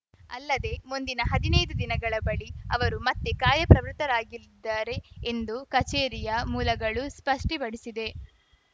ಅಲ್ಲದೆ ಮುಂದಿನ ಹದಿನೈದು ದಿನಗಳ ಬಳಿ ಅವರು ಮತ್ತೆ ಕಾರ್ಯಪ್ರವೃತ್ತರಾಗಲಿದ್ದಾರೆ ಎಂದು ಕಚೇರಿಯ ಮೂಲಗಳು ಸ್ಪಷ್ಟಿಪಡಿಸಿದೆ